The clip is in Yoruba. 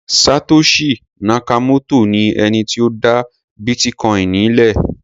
Satoshi Nakamoto ni ẹni tí ó dá bítíkoìnì le.